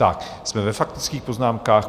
Tak, jsme ve faktických poznámkách.